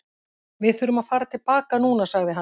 Við þurfum að fara til baka núna, sagði hann.